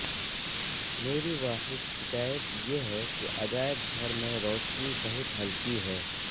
میری واحد شکایت یہ ہے کہ عجائب گھر میں روشنی بہت ہلکی ہے